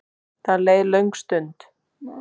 Það leið löng stund.